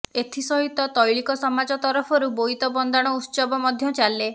ଏଥିସହିତ ତୈଳିକ ସମାଜ ତରଫରୁ ବୋଇତ ବନ୍ଦାଣ ଉତ୍ସବ ମଧ୍ୟ ଚାଲେ